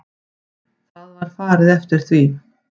Það var farið eftir því.